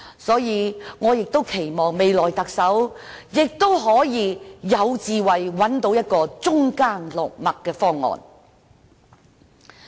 所以，我期望未來特首具備智慧，找到中間落墨的方案。